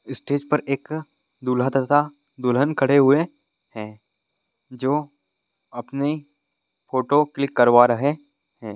Stage पे एक दूल्हा तथा दुल्हन खड़े हुए है जो अपनी फोटो क्लिक करवा रहे हैं।